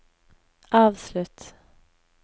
avslutt